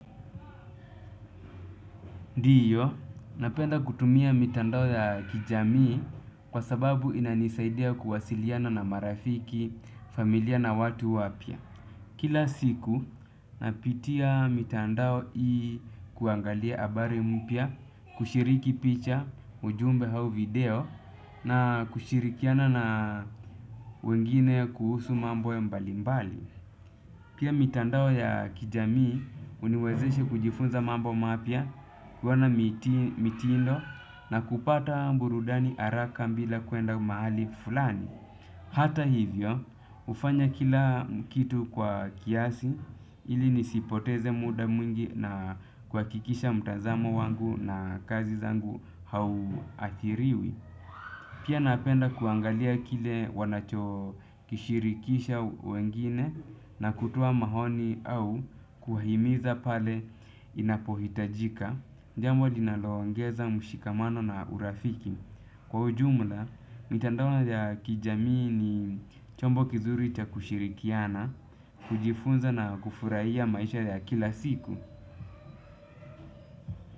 Ndiyo, napenda kutumia mitandao ya kijamii kwa sababu inanisaidia kuwasiliana na marafiki, familia na watu wapya. Kila siku, napitia mitandao ili kuangalia abari mpya, kushiriki picha, ujumbe au video, na kushirikiana na wengine kuhusu mambo ya mbali mbali. Pia mitandao ya kijamii uniwezeshe kujifunza mambo mapya wana mitindo na kupata burudani haraka bila kuenda mahali fulani. Hata hivyo ufanya kila kitu kwa kiasi ili nisipoteze muda mwingi na kuhakikisha mtazamo wangu na kazi zangu hauathiriwi. Pia napenda kuangalia kile wanacho kishirikisha wengine na kutoa maoni au kuwahimiza pale inapohitajika. Jambo linalo ongeza mshikamano na urafiki. Kwa ujumla, mitandao ya kijamii ni chombo kizuri chakushirikiana, kujifunza na kufurahia maisha ya kila siku.